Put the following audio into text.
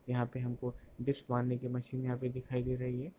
यहाँ पर हमको डिप्स मारने की मशीन यहां पर दिखाई दे रही है।